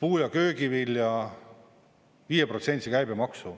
puu- ja köögivilja 5%-lise käibemaksu.